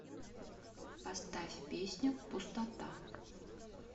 поставь песню пустота